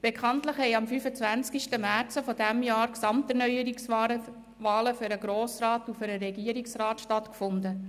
Bekanntlich haben am 25. März dieses Jahres Gesamterneuerungswahlen für den Grossen Rat und für den Regierungsrat stattgefunden.